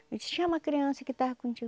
Eu disse, tinha uma criança que estava contigo.